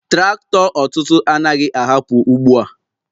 Traktọ ọtụtụ anaghị ahapụ ugbo a!.